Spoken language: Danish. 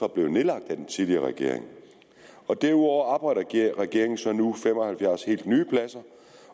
blevet nedlagt af den tidligere regering og derudover opretter regeringen så nu fem og halvfjerds helt nye pladser